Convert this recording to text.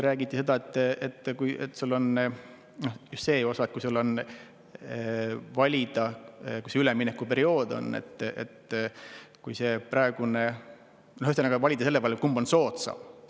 Räägiti vaid sellest, kas siis, kui on üleminekuperiood ja kui on valida, kumb on soodsam,.